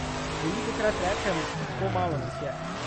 Velikokrat rečem: "Tako malo nas je.